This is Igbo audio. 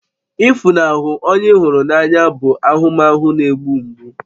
Ịfunahụ onye ị hụrụ n'anya bụ ahụmahụ na-egbu mgbu